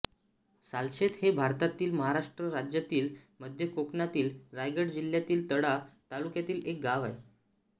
सालशेत हे भारतातील महाराष्ट्र राज्यातील मध्य कोकणातील रायगड जिल्ह्यातील तळा तालुक्यातील एक गाव आहे